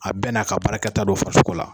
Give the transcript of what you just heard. A bɛɛ n'a ka baarata don faso la!